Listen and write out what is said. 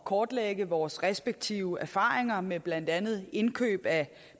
kortlægge vores respektive erfaringer med blandt andet indkøb af